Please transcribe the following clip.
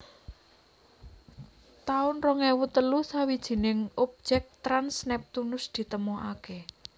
taun rong ewu telu Sawijining objek trans Neptunus ditemokaké